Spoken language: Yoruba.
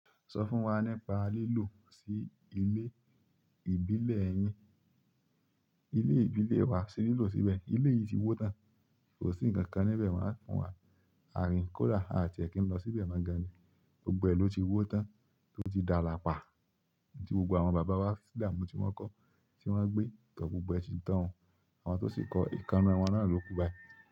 Sọ fún wa nípa lílò sí ilé ìbílẹ̀ yín. Ilé ìbílẹ̀ wa ṣe lílò síbẹ̀. Ilé yìí ti wó tán, kò sí ǹkan kan níbẹ̀ mo a kan wa. Ààrín kódà, ààtì è kí n lọ síbẹ̀ mo gaan ni. Gbogbo ẹ ló ti wó tán tó ti dála pa. Gbogbo àwọn baba wa damu ti won ko, ti won gbe gbogbo e ti tan o. Àwọn tó sì kọ ìkaná wọn náà ló kú bái.